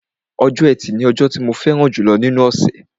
Ọjọ́ ẹtì ni ọjọ́ tí mo fẹ́ràn jùlọ nínú ọ̀ṣẹ̀